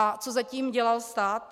A co zatím dělal stát?